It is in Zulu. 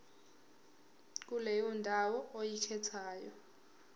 kuleyo ndawo oyikhethayo